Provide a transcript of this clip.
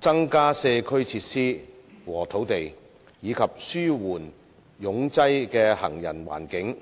增加社區設施和土地，以及紓緩擁擠的行人環境。